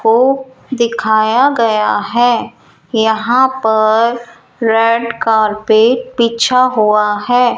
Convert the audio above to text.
को दिखाया गया है यहां पर रेड कारपेट बीछा हुआ है।